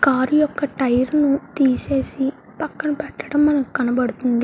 Car యొక్క tyre తీసేసి పక్కన పెట్టడం మనకు కనబడుతుంది.